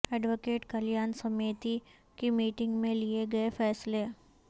add وکیٹ Kalyan Samiti کی meeting میں لئے گئے فیصلے